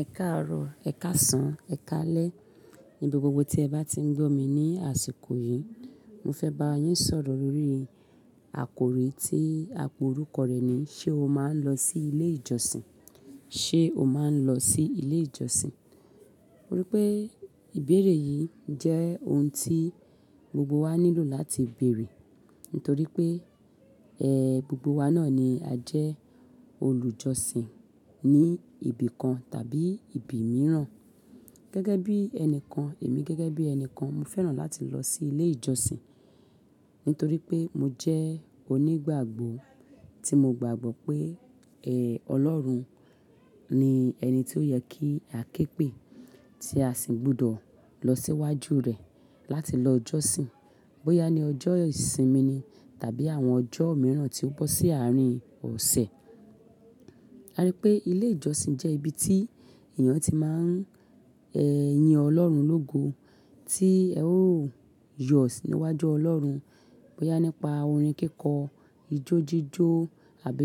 Ẹ káàárọ̀, ẹ̀ káàsán, ẹ̀ káalẹ́. Nibi gbogbo tí ẹ̀ bá ti ń gbọ́ mi ni àsìkò yìí, mo fẹ́ bá yín sọ̀rọ̀ lórí àkòrí tí àpò orúkọ rẹ̀ ni "Ṣé o máa ń lọ sí ilé ìjọsìn? Ṣé o máa ń lọ sí ilé ìjọsìn?" Torí pé ìbéèrè yìí jẹ́ ohun tí gbogbo wa nílò láti béèrè. Nítorí pé, ẹ́ gbogbo wa náà ni a jẹ́ olùjọsìn ní ibi kan tàbí ibi mìíràn. Gẹ́gẹ́ bí ẹni kan, èmi gẹ́gẹ́ bí ẹni kan, mo fẹ́ràn láti lọ sí ilé ìjọsìn. Nítorí pé mo jẹ́ onígbàgbọ́ tí mo gbàgbọ́ pé, ẹ́ Ọlọ́run ni ẹni tí ó yẹ kí a ké pè tí a sì gbọdọ̀ lọ síwájú rẹ̀ láti lọ ìjọsìn. Bóyá ni ọjọ́ ìsinmi ni tàbí àwọn ọjọ́ mìíràn tí ó bọ́ sí àárín ọ̀sẹ̀. A rí pé ilé ìjọsìn jẹ́ ibi tí èèyàn tí máa ń, ẹ́ yin Ọlọ́run lógo, tí ẹ ó yọ̀ síwájú Ọlọ́run. Bóyá nípa orin kíkọ, ijó jíjó àbí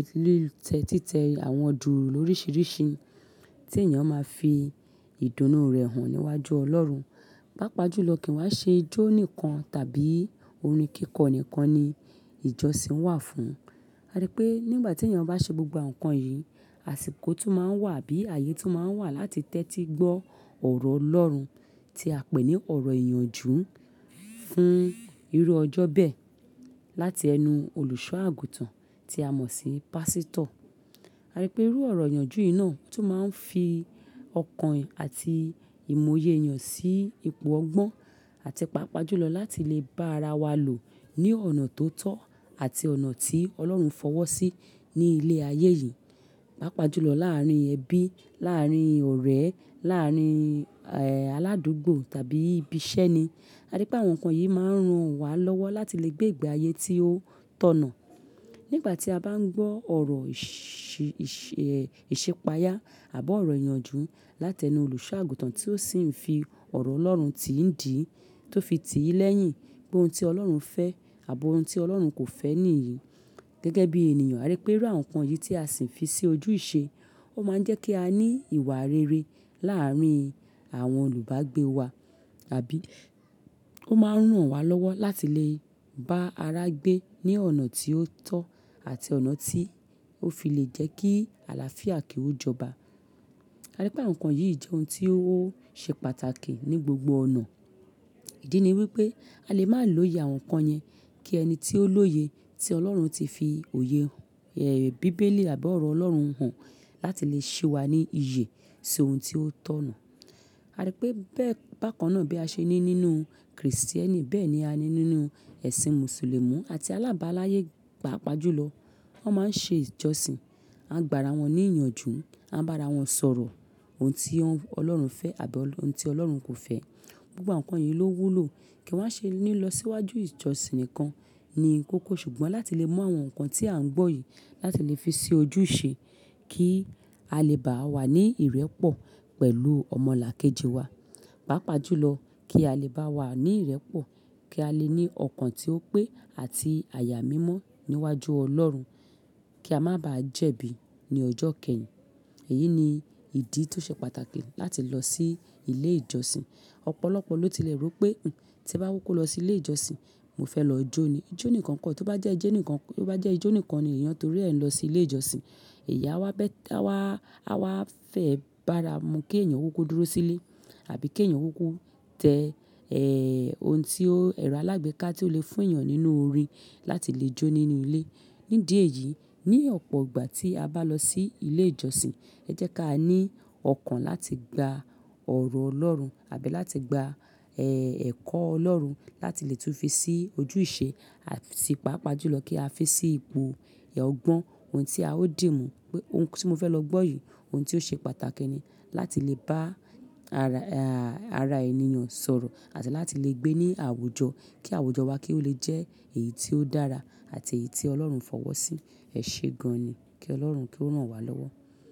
títẹ àwọn duùrù lórísìíríṣi tí èèyàn máa fi ìdùnnú rẹ̀ hàn níwájú Ọlọ́run. Pápá jùlọ kì í wá ṣe ijó nìkan tàbí orin kíkọ nìkan ni ìjọsìn wà fún. A rí pé nígbà tí èèyàn bá ṣe gbogbo nǹkan yìí, àsìkò tún máa ń wà bí ààyè tún máa ń wà láti tẹ́tí gbọ́ ọ̀rọ̀ Ọlọ́run tí a pè ní ọ̀rọ̀ ìyànjú fún irú ọjọ́ bẹ́ẹ̀ láti ẹnu olùṣọ́-àgùntàn tí a mọ̀ sí pásítọ̀. A rí pé irú ọ̀rọ̀ ìyànjú yìí náà tún máa ń fi ọkàn àti ìmọye èèyàn sí ipò ọgbọ́n. Àti paapaa jùlọ láti lè bá ara wa lò ní ọ̀nà tó tọ́ àti ọ̀nà tí Ọlọ́run fọwọ́ sí ní ilé ayé yìí. Pápá jùlọ láàárín ẹbí, láàárín ọ̀rẹ́, láàárín, ẹ́ aládùúgbò tàbí ibi iṣẹ́ ni. A rí pé àwọn nǹkan yìí máa ń ran wa lọ́wọ́ láti lè gbé ìgbé ayé tí ó tọ̀nà. Nígbà tí a bá ń gbọ́ ọ̀rọ̀ ìṣe, ìṣe, ẹ́ ìṣepayà àbọ́ ọ̀rọ̀ ìyànjú láti ẹnu olùṣọ́-àgùntàn tí ó sì ń fi ọ̀rọ̀ Ọlọ́run tí ń dì í, tó fi ti lẹ́yìn pé ohun tí Ọlọ́run fẹ́ àbọ́ ohun tí Ọlọ́run kò fẹ́ nìyí. Gẹ́gẹ́ bí ènìyàn, a rí pé irú àwọn nǹkan yìí tí a sì ń fi sí ojú ìṣe, ó máa ń jẹ́ kí a ní ìwà rere láàárín àwọn olùbágbé wa. Àbí ó máa ń ran wa lọ́wọ́ láti lè bá ara gbé ní ọ̀nà tí ó tọ́ àti ọ̀nà tí ó fi lè jẹ́ kí àlàáfíà kí ó jọba. A rí pé àwọn nǹkan yìí jẹ́ ohun tí ó ṣe pàtàkì ní gbogbo ọ̀nà. Ìdí ni wípé a lè má lòye àwọn nǹkan yẹn kí ẹni tí ó lóye, tí Ọlọ́run ti fi òye, ẹ́ bíbélì àbọ́ ọ̀rọ̀ Ọlọ́run hàn láti lè ṣẹ́ wa ní ìyè, ṣi ohun tí ó tọ̀nà. A rí pé bẹ́ẹ̀, bákan náà bí a ṣe ní nínú Krìstíẹ́nì bẹ́ẹ̀ ni a ní nínú ẹ̀sìn Mùsùlùmí àti alábàáláyé, pàápàá jùlọ. Wọ́n máa ń ṣe ìjọsìn, a ń gbà ara wọn ní ìyànjú, a ń bá ara wọn sọ̀rọ̀ ohun tí Ọlọ́run fẹ́ àbí ohun tí Ọlọ́run kò fẹ́. Gbogbo àwọn nǹkan yìí ló wúlò kí wa n ṣe ní lọ síwájú ìjọsìn nìkan ni kókó. Ṣùgbọ́n láti lè mọ àwọn nǹkan tí a ń gbọ́ yìí láti lè fi sí ojú ìṣe kí á lè bá wa ní ìrẹ́pọ̀ pẹ̀lú ọmọ làkejì wa. Pápá jùlọ kí á lè bá wa ní ìrẹ́pọ̀, kí a lè ní ọkàn tí ó pé àti àyà mímọ́ níwájú Ọlọ́run. Kí a má bàá jẹ̀bi ní ọjọ́ kẹyìn. Èyí ni ìdí tí ó ṣe pàtàkì láti lọ sí ilé ìjọsìn. Ọ̀pọ̀lọpọ̀ ló ti lè rò pé, tí ẹ bá kuku lọ sí ilé ìjọsìn, mo fẹ́ lọ jó ni. Ijó nìkan kọ́, tó bá jẹ́ ẹ ijo nìkan, tó bá jẹ́ ijó nìkan ni èèyàn torí ẹ́ ń lọ sí ilé ìjọsìn." Ìyá wa bẹ́, tí àwa, àwa fẹ́ bá ara mu kí èèyàn kúkú dúró sílé àbí kí èèyàn kúkú tẹ, ẹ́ ohun tí ó, ẹ̀rọ alágbéká tí ó lè fún èèyàn nínú orín láti lè jó nínú ilé. Ní díẹ̀ yìí, ní ọ̀pọ̀ ìgbà tí a bá lọ sí ilé ìjọsìn, ẹ jẹ́ ká ní ọkàn láti gba ọ̀rọ̀ Ọlọ́run àbí láti gba, ẹ́ ẹ̀kọ́ Ọlọ́run láti lè tún fi sí ojú ìṣe, àti paapaa jùlọ kí a fi sí ipò ìha gbọ́n ohun tí a ó dì mú. Ohun tí mo fẹ́ lọ gbọ́ yìí, ohun tí ó ṣe pàtàkì ni láti lè bá ara, àrá èèyàn sọ̀rọ̀ àti láti lè gbé ní àwùjọ kí àwùjọ wa kí ó lè jẹ́ èyí tí ó dára àti èyí tí Ọlọ́run fọwọ́ sí. Ẹ ṣe gan-an ni kí Ọlọ́run kí ó rán wa lọ́wọ́.